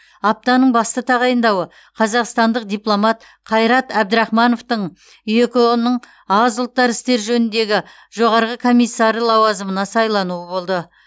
аптаның басты тағайындауы қазақстандық дипломат қайрат әбдірахмановтың еқыұ ның аз ұлттар істері жөніндегі жоғарғы комиссары лауазымына сайлануы болды